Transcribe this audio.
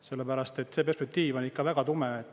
Sellepärast et see perspektiiv on ikka väga tume.